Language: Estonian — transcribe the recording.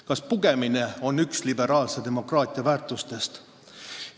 Kas pugemine on üks liberaalse demokraatia väärtustest?